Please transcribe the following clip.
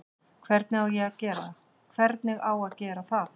Hvernig á að gera það?